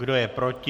Kdo je proti?